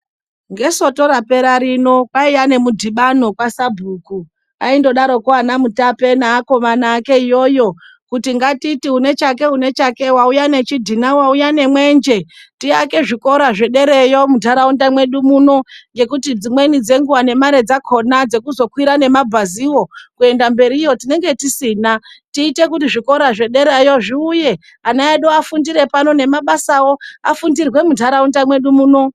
Ngesoto rapera rino kwaiya nemudhibano kwaSabhuku. Aindodaroko anaMutape neakomana ake iyoyo, kuti ngatiti une chake une chake wauya nechidhina, wauya nemwenje tiake zvikora zvedereyo muntaraunda mwedu muno. Ngekuti dzimweni dzenguwa nemare dzakhona dzekuzokwira nemabhaziwo, kuenda mberiyo tinenge tisina. Tiite kuti zvikora zvederayo zviuye, ana edu afundire pano. Nemabasawo afundirwe muntaraunda mwedu muno.